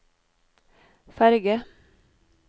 ferge